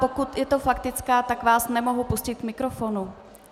Pokud je to faktická, tak vás nemohu pustit k mikrofonu.